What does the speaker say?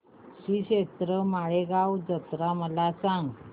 श्रीक्षेत्र माळेगाव यात्रा मला सांग